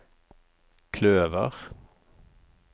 kløver